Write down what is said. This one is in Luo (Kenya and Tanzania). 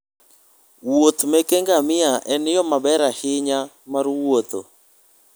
Wuoth meke ngamia en yo maber ahinya mar wuotho.